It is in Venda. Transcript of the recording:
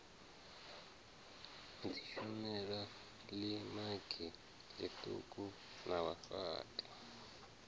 dzitshumelo ḽimagi ḽiṱuku na vhafhaṱi